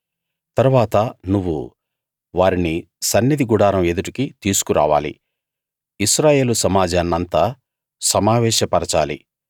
తరువాత నువ్వు వారిని సన్నిధి గుడారం ఎదుటకి తీసుకు రావాలి ఇశ్రాయేలు సమాజాన్నంతా సమావేశ పరచాలి